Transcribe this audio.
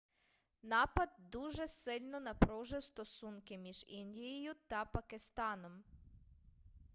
напад дуже сильно напружив стосунки між індією та пакистаном